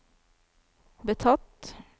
betatt